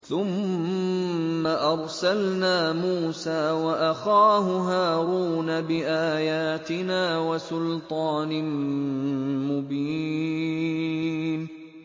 ثُمَّ أَرْسَلْنَا مُوسَىٰ وَأَخَاهُ هَارُونَ بِآيَاتِنَا وَسُلْطَانٍ مُّبِينٍ